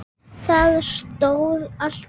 Það stóðst alltaf.